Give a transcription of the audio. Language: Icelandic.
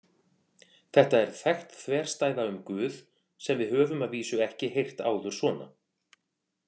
Þetta er þekkt þverstæða um Guð sem við höfum að vísu ekki heyrt áður svona.